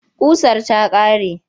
Ƙusar ta ƙare.